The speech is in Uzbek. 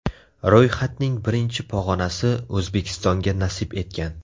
Ro‘yxatning birinchi pog‘onasi O‘zbekistonga nasib etgan.